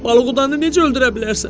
Balıqdanı necə öldürə bilərsən?